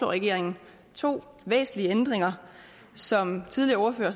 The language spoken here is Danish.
regeringen to væsentlige ændringer som tidligere ordførere